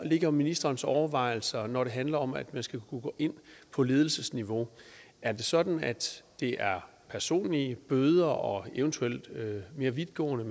er ministerens overvejelser når det handler om at man skal kunne gå ind på ledelsesniveau er det sådan at det er personlige bøder og eventuelt mere vidtgående